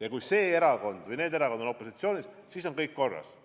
ja kui see erakond või need erakonnad on opositsioonis, siis on kõik korras.